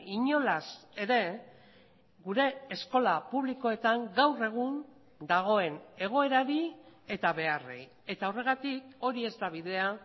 inolaz ere gure eskola publikoetan gaur egun dagoen egoerari eta beharrei eta horregatik hori ez da bidea